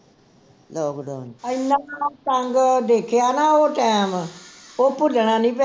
ਇਨ੍ਹਾਂ ਤੰਗ ਦੇਖਿਆ ਨਾ ਉਹ time ਉਹ ਭੁੱਲਣਾ ਨਹੀਂ